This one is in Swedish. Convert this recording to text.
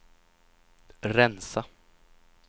rensa